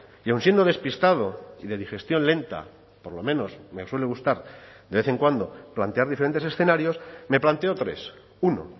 y aun siendo despistado y de digestión lenta por lo menos me suele gustar de vez en cuando plantear diferentes escenarios me planteo tres uno